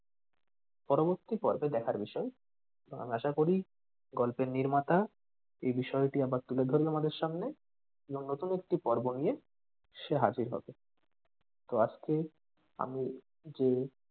পরবর্তী পর্বে দেখার বিষয় আমি আশা করি গল্পের নির্মাতা এ বিষয়টি আবার তুলে ধরবে আমাদের সামনে এবং নতুন একটি পর্ব নিয়ে সে হাজির হবে। তো আজকে আমি যে,